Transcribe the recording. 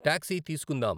taxi తీసుకుందాం